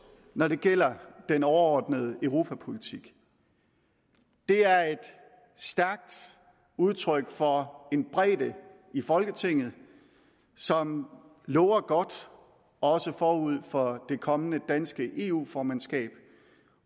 når det gælder den overordnede europapolitik er et stærkt udtryk for en bredde i folketinget som lover godt også forud for det kommende danske eu formandskab